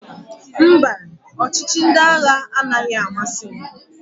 Mba, ọchịchị ndị agha anaghị amasị m.